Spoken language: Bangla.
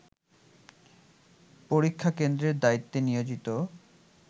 পরীক্ষা কেন্দ্রের দায়িত্বে নিয়োজিত